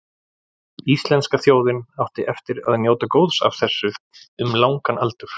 Íslenska þjóðin átti eftir að njóta góðs af þessu um langan aldur.